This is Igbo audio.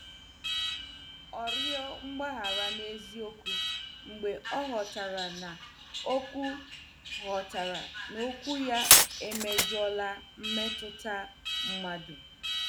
O rịọ mgbaghara n'eziokwu mgbe ọ ghọtara na okwu ghọtara na okwu ya emejọọla mmetụta mmadụ.